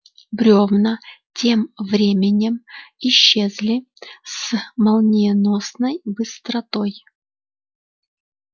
брёвна тем временем исчезли с молниеносной быстротой